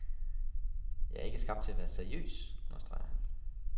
Jeg er ikke skabt til at være seriøs, understreger han.